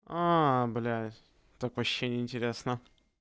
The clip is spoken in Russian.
аа блять так вообще не интересно